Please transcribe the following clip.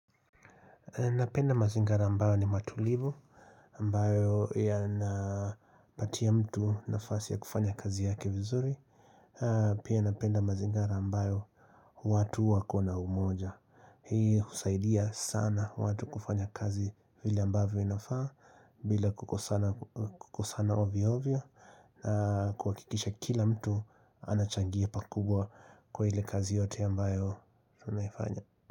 Napenda mazingira ambayo ni matulivu ambayo yana patia mtu nafasi ya kufanya kazi yake vizuri Pia napenda mazingira ambayo watu wako na umoja Hii husaidia sana watu kufanya kazi vile ambavyo inafaa bila kukosana ovyo ovyo na kuhakikisha kila mtu anachangia pakubwa kwa ile kazi yote ambayo tunaifanya.